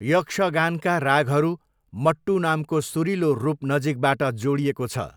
यक्षगानका रागहरू मट्टू नामको सुरिलो रूप नजिकबाट जोडिएको छ।